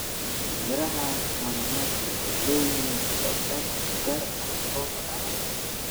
Miraha mananasi waxay leeyihiin dhadhan gaar ah oo macaan.